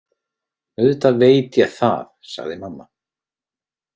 Auðvitað veit ég það, sagði mamma.